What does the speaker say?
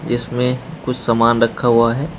जिसमें कुछ सामान रखा हुआ है।